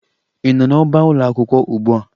Ị nọ n'ọbaakwụkwọ ugbua?